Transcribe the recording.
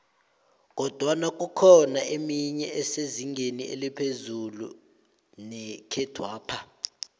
kodwana kukhona emenye esezingeni eliphezu nekhethwapha